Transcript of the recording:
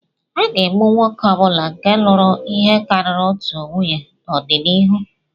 A ga-egbu nwoke ọ bụla nke lụrụ ihe karịrị otu nwunye n'ọdịnihu.